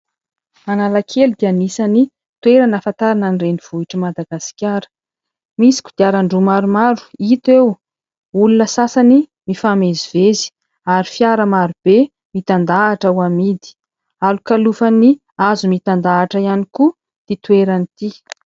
Analakely dia anisany toerana ahafantarana ny renivohitr'i Madagasikara. Misy kodiaran-droa maromaro hita eo, olona sasany mifamezivezy ary fiara maro be mitandahatra ho amidy. Alokalofan'ny hazo mitandahatra ihany koa ity toerana ity.